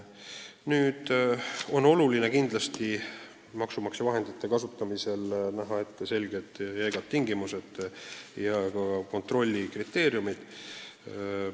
Kindlasti on oluline, et maksumaksja vahendite kasutamisel on ette nähtud selged ja jäigad tingimused ning ka kontrolli kriteeriumid.